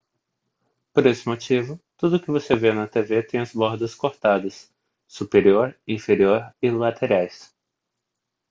por esse motivo tudo o que você vê na tv tem as bordas cortadas superior inferior e laterais